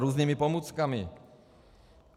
Různými pomůckami.